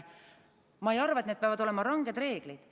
Ma ei arva, et need peavad olema ranged reeglid.